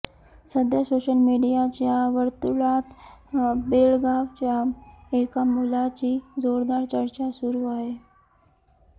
सध्या सोशल मीडियाच्या वर्तुळात बेळगावच्या एका मुलाची जोरदार चर्चा सुरू आहे